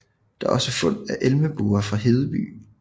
Der er også fund af elmebuer fra Hedeby